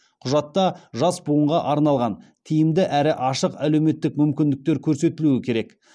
құжатта жас буынға арналған тиімді әрі ашық әлеуметтік мүмкіндіктер көрсетілуі керек